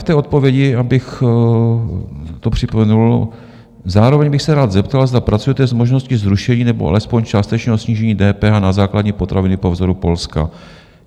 V té odpovědi, abych to připomenul, zároveň bych se rád zeptal, zda pracujete s možností zrušení nebo alespoň částečného snížení DPH na základní potraviny po vzoru Polska.